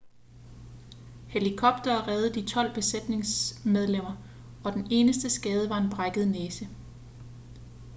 helikoptere reddede de tolv besætningsmedlemmer og den eneste skade var en brækket næse